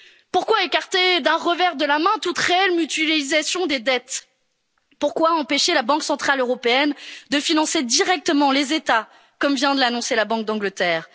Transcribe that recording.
à l'austérité. Pourquoi écarter d'un revers de la main toute réelle mutualisation des dettes? Pourquoi empêcher la Banque centrale européenne de financer directement les États, comme vient de l'annoncer la Banque